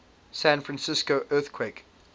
san francisco earthquake